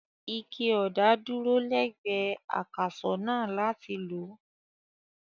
Ike ọ̀dà kan dúró lẹ́gbẹ̀ẹ́ akàsọ̀ náà láti lò.